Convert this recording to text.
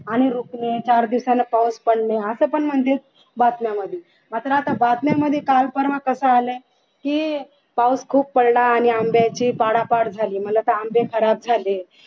आणि चार दिवसान पाऊस पडणे अस पण म्हणजे बातम्या मध्ये आलोय मात्र आता काल-परवा कस आलंय की पाऊस खूप पडला आणि आंब्याची पाडापाड झाली म्हटल आता आंबे खराब झाले